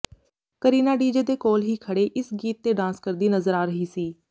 Kareena DJ ਦੇ ਕੋਲ ਹੀ ਖੜੇ ਇਸ ਗੀਤ ਤੇ ਡਾਂਸ ਕਰਦੀ ਨਜ਼ਰ ਆ ਰਹੀ ਸੀ